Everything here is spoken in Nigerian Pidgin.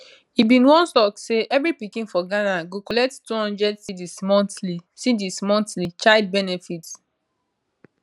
e bin once tok say evri pikin for ghana go collect 200 cedis monthly cedis monthly child benefits